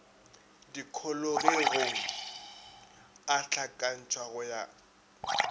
dikholegong a hlakantšhwa go ya